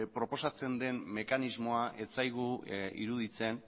proposatzen den mekanismo ez zaigu iruditzen